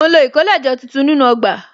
Mo ń lo ìkólẹ̀jọ tuntun nínú ọgbà